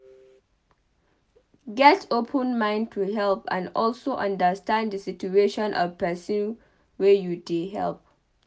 Get open mind to help and also understand di situation of person wey you dey help